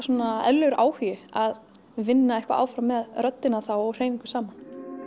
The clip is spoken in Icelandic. eðlilegur áhugi að vinna eitthvað áfram með röddina þá og hreyfingu saman